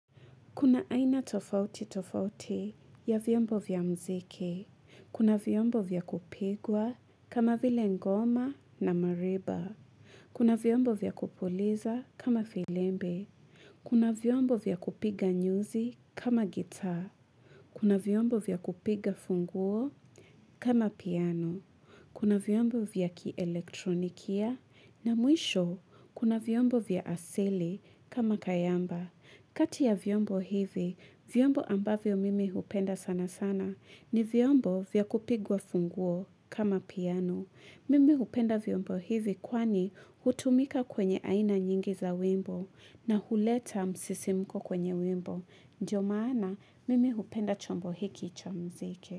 Kuna aina tofauti tofauti ya vyombo vya muziki, kuna vyombo vya kupigwa kama vile ngoma na mariba, kuna vyombo vya kupuuliza kama firimbi, kuna vyombo vya kupiga nyuzi kama guitar, kuna vyombo vya kupiga funguo kama piano, kuna vyombo vya kielektronikia na mwisho kuna vyombo vya asili kama kayamba. Kati ya vyombo hivi, vyombo ambavyo mimi hupenda sana sana ni vyombo vya kupigwa funguo kama piano. Mimi hupenda vyombo hivi kwani hutumika kwenye aina nyingi za wimbo na huleta msisimko kwenye wimbo. Ndio maana, mimi hupenda chombo hiki cha muziki.